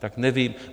Tak nevím.